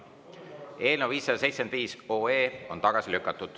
Eelnõu 575 on tagasi lükatud.